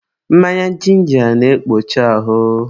mmanya jinja na-ekpocha ahụ.